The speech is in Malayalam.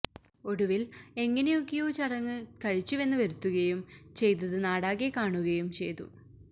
ഒടുവില് എങ്ങനൊക്കെയൊ ചടങ്ങ് കഴിച്ചുവെന്ന് വരുത്തുകയും ചെയ്തത് നാടാകെ കാണുകയും ചെയ്തു